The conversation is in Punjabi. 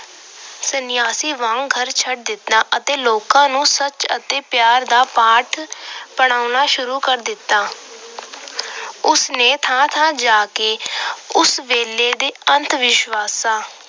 ਸਨਿਆਸੀ ਵਾਂਗ ਘਰ ਛੱਡ ਦਿੱਤਾ ਅਤੇ ਲੋਕਾਂ ਨੂੰ ਸੱਚ ਅਤੇ ਪਿਆਰ ਦਾ ਪਾਠ ਪੜ੍ਹਾਉਣਾ ਸ਼ੁਰੂ ਕਰ ਦਿੱਤਾ। ਉਸ ਨੇ ਥਾਂ ਥਾਂ ਜਾ ਕੇ ਉਸ ਵੇਲੇ ਦੇ ਅੰਧਵਿਸ਼ਵਾਸਾਂ